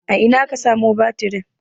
a Ina aka samo batirin?